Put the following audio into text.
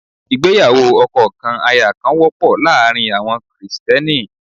Ìgbéyàwó ọkọ kan aya kan wọ́pọ̀ láàárín àwọn Krìsìtẹ́nì.